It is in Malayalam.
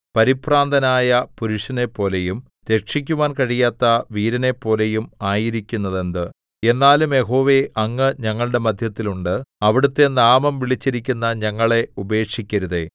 പരിഭ്രാന്തനായ പുരുഷനെപ്പോലെയും രക്ഷിക്കുവാൻ കഴിയാത്ത വീരനെപ്പോലെയും ആയിരിക്കുന്നതെന്ത് എന്നാലും യഹോവേ അങ്ങ് ഞങ്ങളുടെ മദ്ധ്യത്തിൽ ഉണ്ട് അവിടുത്തെ നാമം വിളിച്ചിരിക്കുന്ന ഞങ്ങളെ ഉപേക്ഷിക്കരുതേ